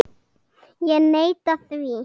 Ég neita því.